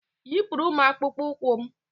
Yipụrụ m akpụkpọ ụkwụ m!